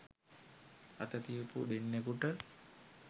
අත තියපු දෙන්නෙකුට